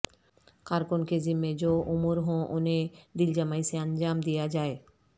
کارکن کے ذمہ جو امور ہوں انہیں دلجمعی سے انجام دیا جائے